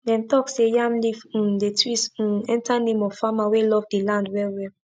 dem talk say yam leaf um dey twist um enter name of farmer wey love the land well well